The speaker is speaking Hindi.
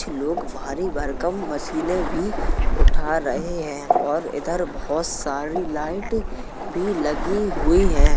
लोग भारी भरकम मशीने भी उठा रहे हैं और इधर बहोत सारी लाइट भी लगी हुई है।